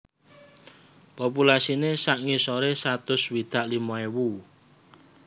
Populasiné sak ngisoré satus swidak limo ewu